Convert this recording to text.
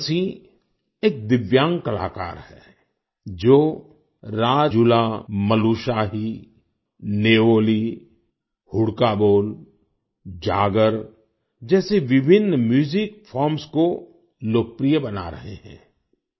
पूरन सिंह एक दिव्यांग कलाकार हैं जो राजूलामलुशाही न्यौली हुड़का बोल जागर जैसी विभिन्न म्यूजिक फॉर्म्स को लोकप्रिय बना रहे हैं